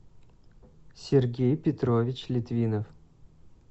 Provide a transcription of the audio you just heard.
сергей петрович литвинов